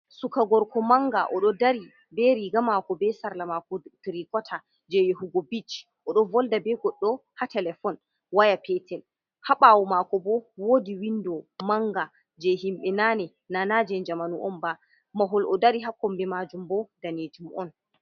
Suka gorko manga oɗo dari be riga mako be sarla mako tirikota, je yahugo bich, odon volda be goɗɗo ha telefon waya petel, ha ɓawo mako bo wodi windo manga je himbe nane na najen jamanu'on ba mahol o dari ha kombi majim bo danejum on.